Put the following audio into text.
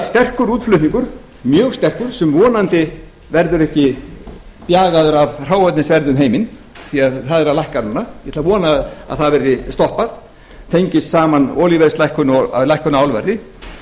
sterkur útflutningur mjög sterkur sem vonandi verður ekki bjagaður af hráefnisverði um heiminn því að það er að lækka núna ég ætla að vona að það verði stoppað tengist saman olíuverðslækkun og lækkun á álverði